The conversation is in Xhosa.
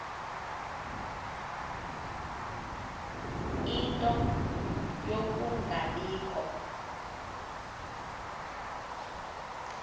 ie nto yokungabikho